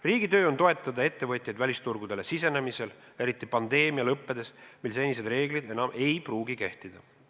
Riigi töö on toetada ettevõtjaid välisturgudele sisenemisel, eriti pandeemia lõppedes, mil senised reeglid enam ei pruugi kehtida.